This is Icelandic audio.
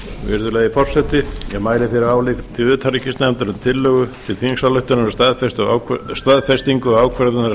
virðulegi forseti ég mæli fyrir áliti utanríkismálanefndar um tillögu til þingsályktunar um staðfestingu ákvörðunar